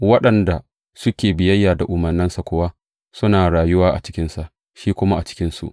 Waɗanda suke biyayya da umarnansa kuwa suna rayuwa a cikinsa, shi kuma a cikinsu.